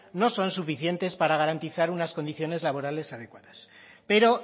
no son suficientes para garantizar unas condiciones laborales adecuadas pero